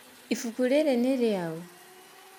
Ibuku rĩrĩ nĩ rĩaũ